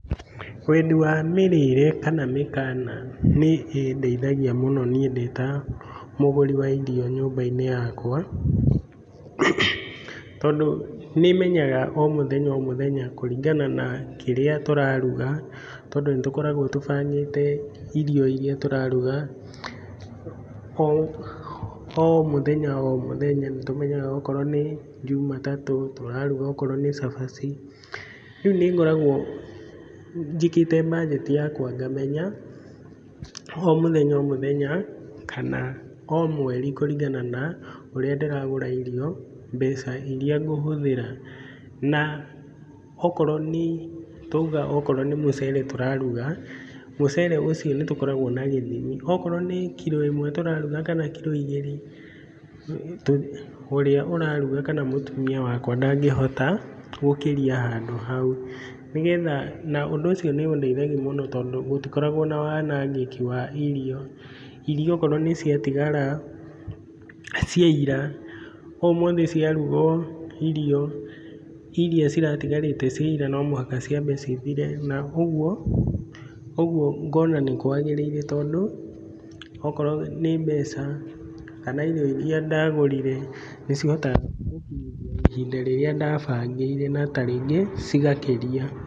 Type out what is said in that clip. Wendi wa mĩrĩre kana mĩkana nĩ ĩndeithagia mũno niĩ ndĩ ta mũgũri wa irio nyũmba-inĩ yakwa, tondũ nĩ menyaga o mũthenya, o mũthenya kũringana na kĩrĩa tũraruga, tondũ nĩ tũkoragwo tũbangĩte irio iria tũraruga. O mũthenya, o mũthenya nĩ tũmenyaga okorwo nĩ Jumatatũ tũraruga okorwo nĩ cabaci. Rĩu nĩngoragwo njĩkĩte mbanjeti yakwa ngamenya o mũthenya o mũthenya kana o mweri kũringana na ũrĩa ndĩragũra irio mbeca iria ngũhũthĩra. Na okorwo nĩ, twauga okorwo nĩ mũcere tũraruga, mũcere ũcio nĩtũkoragwo na gĩthimi. Okorwo nĩ kiro ĩmwe tũraruga kana kiro igĩrĩ, ũrĩa ũraruga kana mũtumia wakwa ndangĩhota gũkĩria handũ hau, nĩgetha na ũndũ ũcio nĩ ũndeithagia mũno tondũ gũtikoragwo na wanangĩki wa irio. Irio okorwo nĩciatigara cia ira, ũmũthĩ ciarugwo irio iria ciratigarĩte cia ira no mũhaka ciambe cithire na ũguo, ũguo ngona nĩkwagĩrĩire tondũ okorwo nĩ mbeca kana irio iria ndagũrire nĩ cihotaga gũkinyithia ihinda rĩrĩa ndabangĩire na ta rĩngĩ cigakĩria.